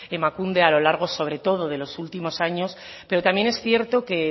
emakunde a lo largo sobre todo de los últimos años pero también es cierto que